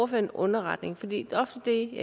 på en underretning for det er ofte det